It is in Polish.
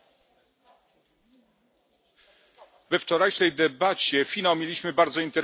We wczorajszej debacie finał mieliśmy bardzo interesujący pojawiły się dwa skrajne poglądy.